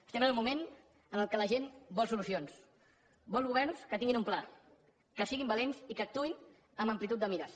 estem en un moment en què la gent vol solucions vol governs que tinguin un pla que siguin valents i que actuïn amb amplitud de mires